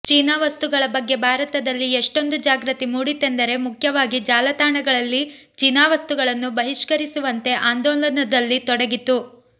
China ವಸ್ತುಗಳ ಬಗ್ಗೆ ಭಾರತದಲ್ಲಿ ಎಷ್ಟೊಂದು ಜಾಗೃತಿ ಮೂಡಿತೆಂದರೆ ಮುಖ್ಯವಾಗಿ ಜಾಲತಾಣಗಳಲ್ಲಿ ಚೀನಾ ವಸ್ತುಗಳನ್ನು ಬಹಿಷ್ಕರಿಸುವಂತೆ ಆಂದೋಲನದಲ್ಲಿ ತೊಡಗಿತು